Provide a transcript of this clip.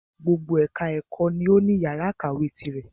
Gbogbo ẹka ẹ̀kọ́ ni o ní yàrá ìkàwé tirẹ̀.